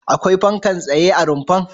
Akwai fankar tsaye a rumfar?